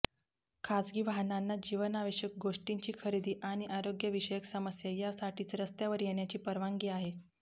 खासगी वाहनांना जीवनावश्यक गोष्टींची खरेदी आणि आरोग्यविषय समस्या यासाठीच रस्त्यावर येण्याची परवानगी आहे